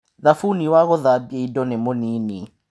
Thabuni wa gũthambia indo nĩ mũnini.